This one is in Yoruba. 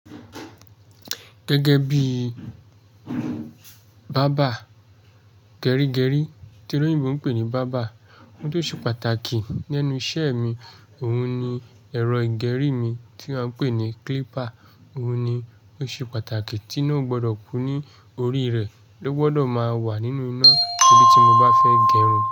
Gẹ́gẹ́ bí bábà gẹrígẹrí tí oloyinbo ń pè ní bábà, ohun tó ṣe pàtàkì lénu isẹ́ mi, òun ni ẹ̀rọ ìgẹrí mi tí à ń pè ní clipper, òun ni ó ṣe pàtàkì tí ná ò gbọdọ̀ kú ní orí rẹ, ó gbọdọ̀ máa wà nínú iná torí tí mo bá fẹ́ gẹrun.